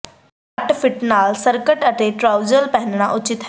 ਘੱਟ ਫਿੱਟ ਨਾਲ ਸਕਰਟ ਅਤੇ ਟਰਾਊਜ਼ਰ ਪਹਿਨਣਾ ਉਚਿਤ ਹੈ